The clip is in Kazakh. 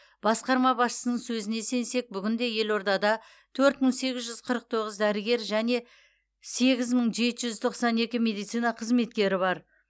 басқарма басшысының сөзіне сенсек бүгінде елордада төрт мың сегіз жүз қырық тоғыз дәрігер және сегіз мың жеті жүз тоқсан екі медицина қызметкері бар